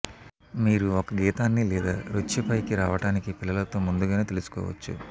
మీరు ఒక గీతాన్ని లేదా నృత్య పైకి రావటానికి పిల్లలతో ముందుగానే తెలుసుకోవచ్చు